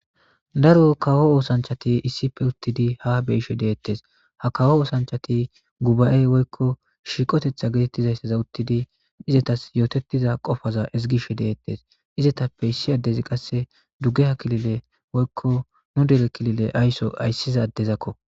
daro kawo oosanchati issife uttidi ha beeishe deettes ha kawo oosanchati guba7ey woykko shiiqotetha geetettizayssaza uttidi izatas yootettiza qofaza ezigishe deettes izetappe issi addezi qasse duge ha kilile woykko nu dere kilile aysso ayssiza addezakko